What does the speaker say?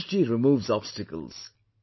Ganesh ji removes obstacles